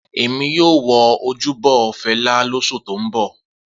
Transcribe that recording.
Emi yoo wo ojubo Fẹla losu to n bọ.